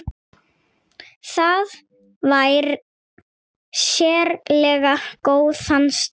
Það fær sérlega góðan stað.